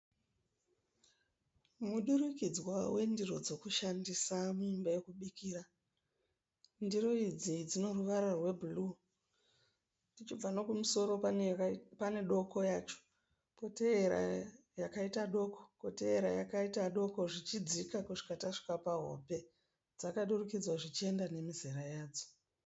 Mudurikidzwa wendiro dzokushandisa muimba yokubikira. Ndiro idzi dzineruvara rwebhuruwu. Tichibva nokumusoro pane doko yacho, koteera yakaita doko, koteera yakaita doko zvichidzika kusvika tasvika pahombe. Dzakadurikidzwa zvichienda nemizera yadzo.